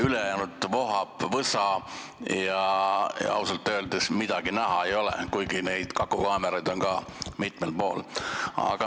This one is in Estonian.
Ülejäänud osas vohab võsa, ausalt öeldes midagi näha ei ole, kuigi neid kakukaameraid on ka mitmel pool.